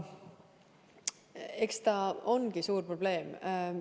Eks ta ongi suur probleem.